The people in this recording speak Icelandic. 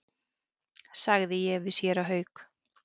sagði ég við séra Hauk.